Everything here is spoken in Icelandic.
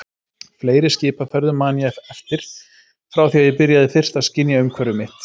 Fleiri skipaferðum man ég eftir frá því að ég byrjaði fyrst að skynja umhverfi mitt.